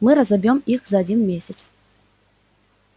мы разобьём их за один месяц